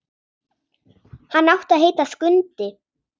Hann átti að heita Skundi.